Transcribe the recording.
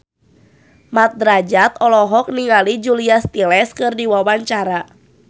Mat Drajat olohok ningali Julia Stiles keur diwawancara